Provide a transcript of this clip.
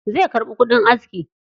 Zai karɓi kudin aski.